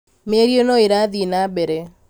Mĩario no ĩrathiĩ na mbere